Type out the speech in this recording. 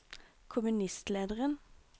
kommunistlederen